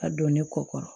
A don ne kɔ